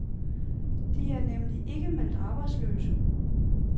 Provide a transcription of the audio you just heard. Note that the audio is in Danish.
De er nemlig ikke meldt arbejdsløse.